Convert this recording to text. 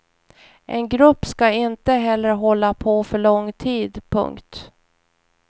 En grupp ska inte heller hålla på för lång tid. punkt